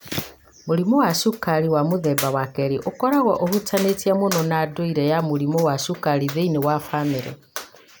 Mũrimũ wa cukari wa mũthemba wa kerĩ ũkoragwo ũhutanĩtie mũno na ndũire ya mũrimũ wa cukari thĩinĩ wa bamĩrĩ,